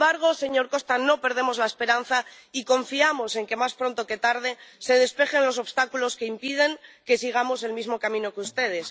Sin embargo, señor Costa, no perdemos la esperanza y confiamos en que, más pronto que tarde, se despejen los obstáculos que impiden que sigamos el mismo camino que ustedes.